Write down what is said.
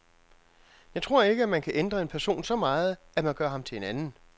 Jeg tror ikke, at man kan ændre en person så meget, at man gør ham til en anden.